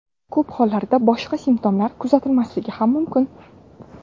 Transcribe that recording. Ko‘p hollarda boshqa simptomlar kuzatilmasligi ham mumkin.